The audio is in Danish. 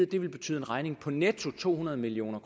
det ville betyde en regning på netto to hundrede million